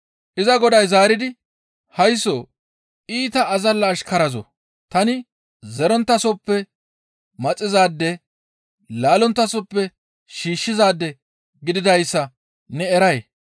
«Iza goday zaaridi, ‹Haysso iita azalla ashkarazoo! Tani zeronttasoppe maxizaade laallonttasoppe shiishshizaade gididayssa ne eray?